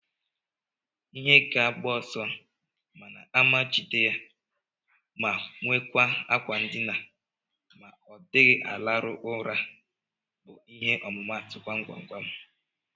Ihe ga agbo ọsọ mana ama jide ya ma nwekwa akwa ndina ma odighi alarụ ụra bu ihe ọmụmatu gwam-gwam-gwam.